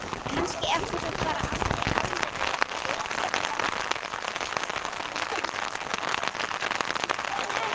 Kannski átti það bara aldrei almennilega við hann.